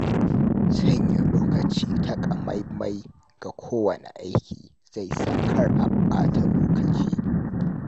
Sanya lokaci takamaimai ga kowane aiki zai sa kar a ɓata lokaci.